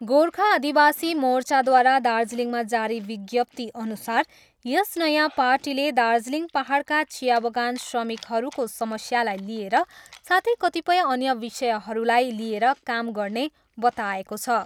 गोर्खा आदिवासी मोर्चाद्वारा दार्जिलिङमा जारी विज्ञप्तीअनुसार यस नयाँ पार्टीले दार्जिलिङ पाहाडका चिया बगान श्रमिकहरूको समस्यालाई लिएर साथै कतिपय अन्य विषयहरूलाई लिएर काम गर्ने बताएको छ।